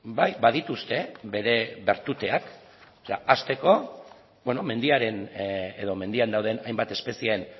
bai badituzte bere bertuteak hasteko mendiaren edo mendian dauden hainbat espezieen